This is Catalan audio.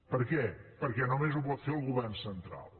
per què perquè només ho pot fer el govern central